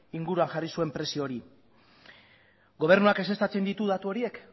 inguruan jarri zuen prezio hori gobernuak ezeztatzen ditu datu horiek